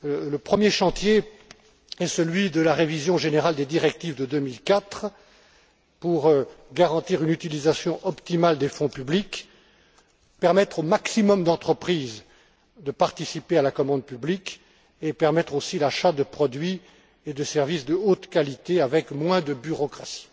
Le premier chantier est celui de la révision générale des directives de 2004 pour garantir une utilisation optimale des fonds publics, permettre au maximum d'entreprises de participer à la commande publique et permettre aussi l'achat de produits et de services de haute qualité avec moins de bureaucratie.